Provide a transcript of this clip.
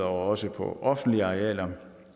også på offentlige arealer